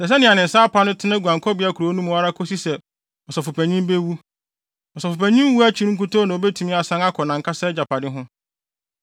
Ɛsɛ sɛ nea ne nsa apa no tena guankɔbea kuropɔn no mu ara kosi sɛ ɔsɔfopanyin bewu. Ɔsɔfopanyin wu akyi nkutoo na obetumi asan akɔ nʼankasa agyapade ho.